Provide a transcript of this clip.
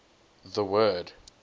the word